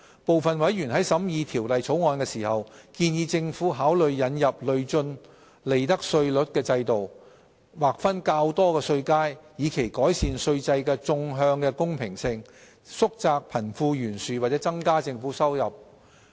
部分委員在審議《條例草案》時，建議政府考慮引入累進利得稅率的制度，劃分較多稅階，以期改善稅制的縱向公平性、縮窄貧富懸殊或增加政府收入。